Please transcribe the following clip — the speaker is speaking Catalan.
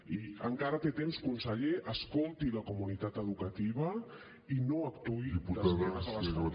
i encara té temps conseller escolti la comunitat educativa i no actuï d’esquena a la família